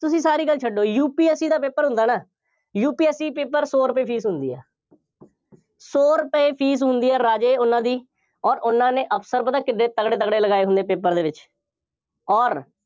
ਤੁਸੀਂ ਸਾਰੀ ਗੱਲ ਛੱਡੋ, UPSC ਦਾ paper ਹੁੰਦਾ, ਨਾ, UPSC paper ਸੋ ਰੁਪਏ fees ਹੁੰਦੀ ਹੈ। ਸੋ ਰੁਪਏ fees ਹੁੰਦੀ ਹੈ ਰਾਜੇ, ਉਹਨਾ ਦੀ, ਅੋਰ ਉਹਨਾ ਨੇ ਅਫਸਰ ਪਤਾ ਕਿੱਢੇ ਤਕੜੇ ਤਕੜੇ ਲਗਾਏ ਹੁੰਦੇ ਆ paper ਦੇ ਵਿੱਚ ਅੋਰ